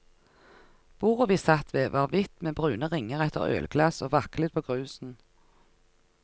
Bordet vi satt ved var hvitt med brune ringer etter ølglass og vaklet på grusen.